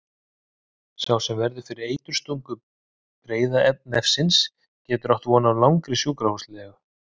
Sá sem verður fyrir eiturstungu breiðnefsins getur átt von á langri sjúkrahúslegu.